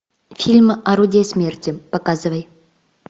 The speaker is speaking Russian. фильм орудие смерти показывай